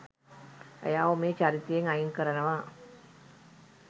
ඔයාව මේ චරිතයෙන් අයින් කරනවා